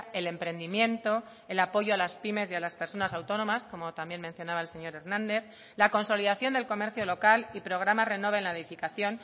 el emprendimiento el apoyo a las pymes y a las personas autónomas como también mencionaba el señor hernández la consolidación del comercio local y programa renove en la edificación